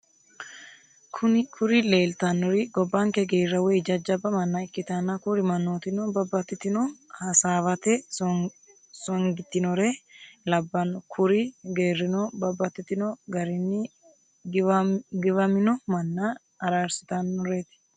Kuri lelitanorri gobbanike gerra woy jajjaba manna ikitana kuri mannotino babatitino hassawate sonigittinore labano. kuri gerrino babatitino garinni giwaamoino manna ararisittanoret.